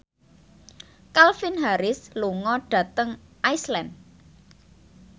Calvin Harris lunga dhateng Iceland